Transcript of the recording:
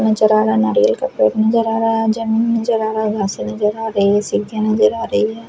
नजर आ रहा है नारियल का पेड़ नजर आ रहा है जमीन नजर आ रहा है घासे नजर आ रही है सीके नजर आ रही है।